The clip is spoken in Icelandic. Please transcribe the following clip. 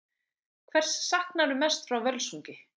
Hvers saknarðu mest frá Völsungi?